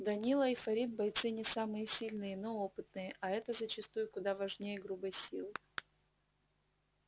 данила и фарид бойцы не самые сильные но опытные а это зачастую куда важнее грубой силы